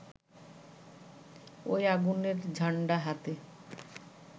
ওই আগুনের ঝান্ডা হাতে